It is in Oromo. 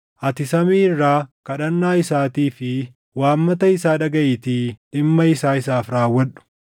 ati samii irraa kadhannaa isaatii fi waammata isaa dhagaʼiitii dhimma isaa isaaf raawwadhu.